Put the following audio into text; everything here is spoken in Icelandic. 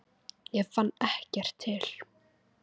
Ég fann ekkert til.